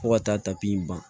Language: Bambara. Fo ka taa tapi in ban